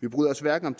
vi bryder os hverken